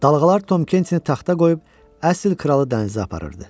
Dalğalar Tom Kenti taxta qoyub əsl kralı dənizə aparırdı.